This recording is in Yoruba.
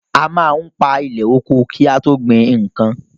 A máa ń pa ilẹ̀ oko ki a tó gbin nnkan.